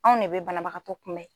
Anw de bɛ banabagatɔ kunbɛn